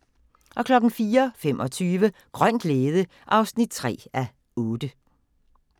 04:25: Grøn glæde (3:8)